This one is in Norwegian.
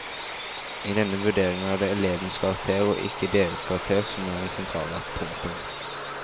I denne vurderingen er det elevenes karakter og ikke deres karakterer som er det sentrale. punktum